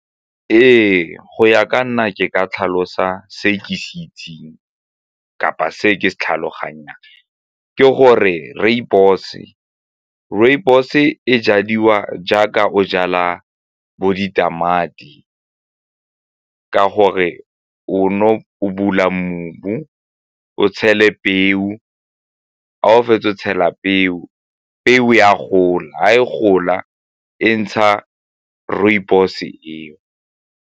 Ee, go ya ka nna ke ka tlhalosa se e ke se itseng kapa se ke se tlhaloganyang. Ke gore rooibos, rooibos e jadiwa jaaka o jala bo ditamati ka gore o bula mobu, o tshele peo ga o fetsa o tshela peo, peo e a gola, ga e gola e ntsha rooibos eo.